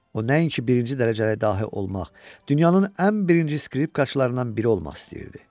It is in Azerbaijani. O nəinki birinci dərəcəli dahi olmaq, dünyanın ən birinci skripkaçılarınnan biri olmaq istəyirdi.